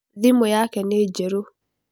Thimũ yake nĩ njerũ.